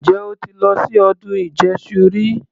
Ǹjẹ́ o ti lọ sí ọdún ìjẹṣu rí?